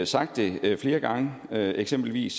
sagt det flere gange er der eksempelvis